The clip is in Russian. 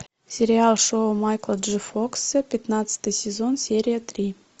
сериал шоу майкла джей фокса пятнадцатый сезон серия три